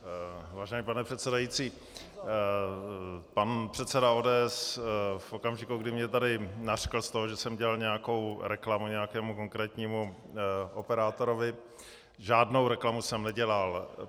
Vážený pane předsedající, pan předseda ODS v okamžiku, kdy mě tady nařkl z toho, že jsem dělal nějakou reklamu nějakému konkrétnímu operátorovi, žádnou reklamu jsem nedělal.